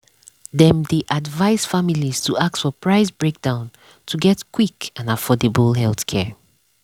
dem dey advise families to ask for price breakdown to get quick and affordable healthcare.